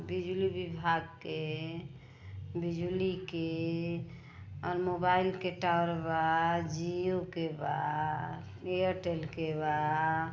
बिजली विभाग के बिजली के और मोबाइल के टावर बा जियो के बा एयरटेल के बा।